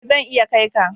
Ee zan iya kai ka.